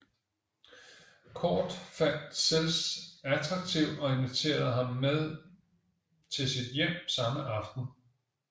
Cordt fandt Sells attraktiv og inviterede ham med til sit hjem samme aften